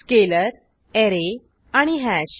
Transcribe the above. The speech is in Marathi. स्केलर ऍरे आणि हॅश